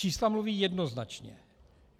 Čísla mluví jednoznačně.